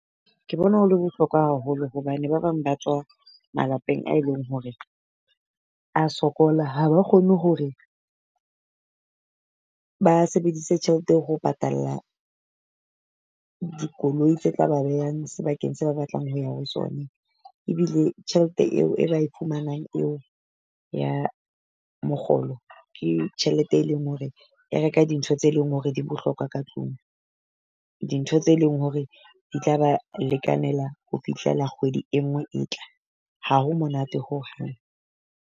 Ke bona ho le bohlokwa haholo hobane ba bang ba tswa malapeng a e leng hore a sokola, ha ba kgone hore ba sebedise tjhelete ho patalla dikoloi tse tla ba behang sebakeng se ba batlang ho ya ho sona. Ebile tjhelete eo e ba e phumanang eo ya mokgolo ke tjhelete e leng hore, e reka dintho tse leng hore di bohlokwa ka tlung, dintho tse leng hore di tla ba lekanela ho fihlela kgwedi e nngwe e tla, ha ho monate hohang.